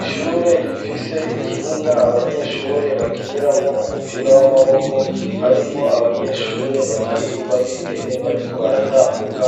ishure rifise ikibuga abanyeshure bakiniramwo umupira w'amaboko harimwo abanyeshure batatu babigeme bariko baratambuka